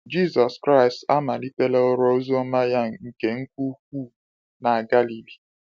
Jisọs Kraịst amalitela ọrụ oziọma ya nke nke ukwuu na Galili.